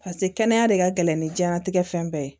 paseke kɛnɛya de ka gɛlɛn ni diɲɛnatigɛ fɛn bɛɛ ye